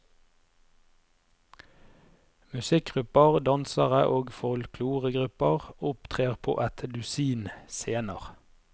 Musikkgrupper, dansere og folkloregrupper opptrer på et dusin scener.